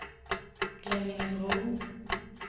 Glemmingebro